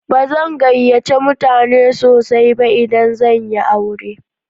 Ba zan gayyace mutane sosai ba idan zan yi aure.